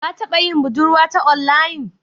Ka taba yin budurwa ta onlayin?